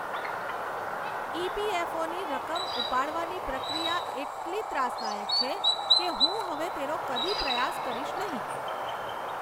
ઇ.પી.એફ.ઓ.ની રકમ ઉપાડવાની પ્રક્રિયા એટલી ત્રાસદાયક છે કે હું હવે તેનો કદી પ્રયાસ કરીશ નહીં.